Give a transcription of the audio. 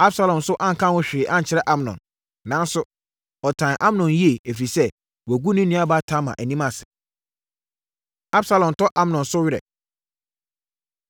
Absalom nso anka ho hwee ankyerɛ Amnon. Nanso, ɔtan Amnon yie, ɛfiri sɛ, wagu ne nuabaa Tamar anim ase. Absalom Tɔ Amnon So Awere